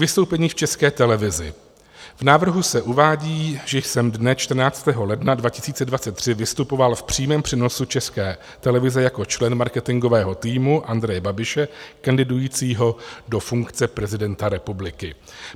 Vystoupení v České televizi: v návrhu se uvádí, že jsem dne 14. ledna 2023 vystupoval v přímém přenosu České televize jako člen marketingového týmu Andreje Babiše, kandidujícího do funkce prezidenta republiky.